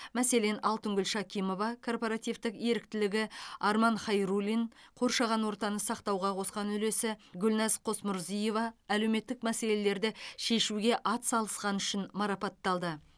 мәселен алтынгүл шакимова корпоративтік еріктілігі арман хайруллин қоршаған ортаны сақтауға қосқан үлесі гүлназ қосмұрзиева әлеуметтік мәселелерді шешуге атсалысқаны үшін марапатталды